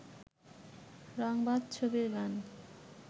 রংবাজ ছবির গান